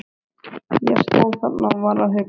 Ég stóð þarna og var að hugsa.